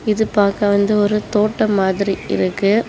இது பாக்க வந்து ஒரு தோட்டோ மாதிரி இருக்கு.